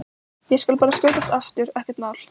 Ég skal bara skjótast aftur, ekkert mál!